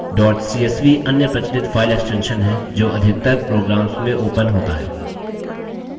dot csv अन्य प्रचलित file extension है जो अधिकतर programs में opens होता है